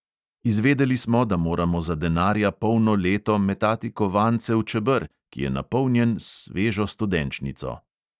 Izvedeli smo, da moramo za denarja polno leto metati kovance v čeber, ki je napolnjen s svežo studenčnico.